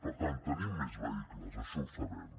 per tant tenim més vehicles això ho sabem